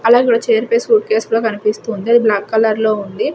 Chair పై suitcase కూడా కనిపిస్తూ ఉంది అది బ్లాక్ కలర్ లో ఉంది.